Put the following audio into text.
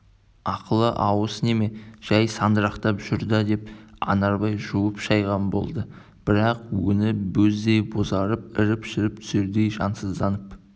ақылы ауыс неме жәй сандырақтап жүр да деп анарбай жуып-шайған болды бірақ өңі бөздей бозарып іріп-шіріп түсердей жансызданып